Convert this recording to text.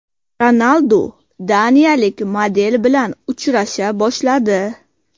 Ronaldu daniyalik model bilan uchrasha boshladi.